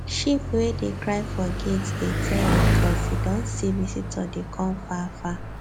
sheep wey dey cry for gate dey tell you coz e don see visitor dey come far far